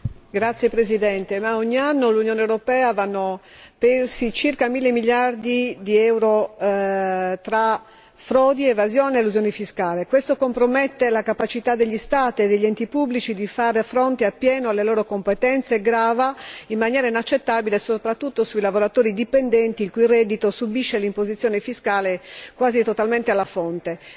Signora Presidente, onorevoli colleghi, ogni anno nell'Unione europea vanno persi circa mille miliardi di euro tra frodi, evasione ed elusione fiscale. Ciò compromette la capacità degli Stati e degli enti pubblici di fare fronte appieno alle loro competenze e grava in maniera inaccettabile soprattutto sui lavoratori dipendenti, il cui reddito subisce l'imposizione fiscale quasi totalmente alla fonte.